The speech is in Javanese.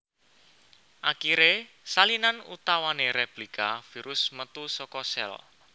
Akiré salinan utawané réplika virus metu saka sèl